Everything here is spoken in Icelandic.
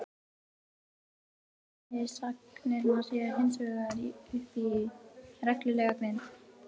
Í kristalli raða efnisagnirnar sér hinsvegar upp í reglulega grind.